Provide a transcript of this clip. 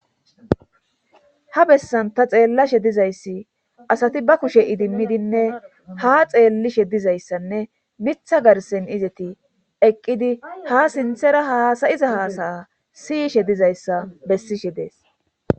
ha bessanta xeellashe dizayssi asati ba kushe idimmidinne ha xeellishe dizayssanne mitha garsen izeti eqqidi ha sinthera haasayiza haasaya siyishe dizayssa bessishe dees